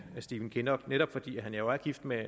stephen kinnock netop fordi han jo er gift med